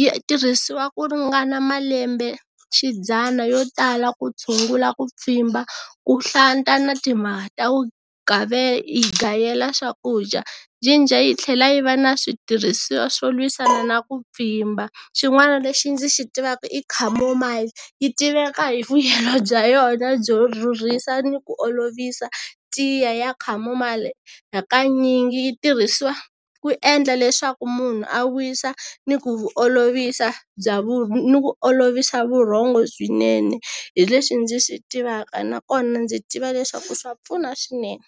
yi tirhisiwa ku ringana malembe xidzana yo tala ku tshungula ku pfimba, ku hlanta na timhaka ta gayela swakudya. Jinja yi tlhela yi va na switirhisiwa swo lwisana na ku pfimba, xin'wana lexi ndzi xi tivaka i chamomile, yi tiveka hi vuyelo bya yona byo rhurhisa ni ku olovisa, tiya ya chamomile hakanyingi yi tirhiswa ku endla leswaku munhu a wisa ni ku olovisa bya ni ku olovisa vurhongo swinene hi leswi ndzi swi tivaka na kona ndzi tiva leswaku swa pfuna swinene.